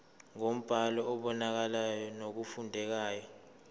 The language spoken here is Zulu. ngombhalo obonakalayo nofundekayo